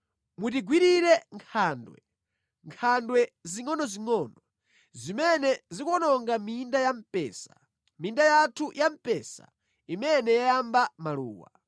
Mutigwirire nkhandwe, nkhandwe zingʼonozingʼono zimene zikuwononga minda ya mpesa, minda yathu ya mpesa imene yayamba maluwa.